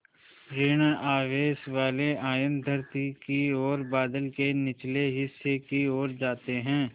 ॠण आवेश वाले आयन धरती की ओर बादल के निचले हिस्से की ओर जाते हैं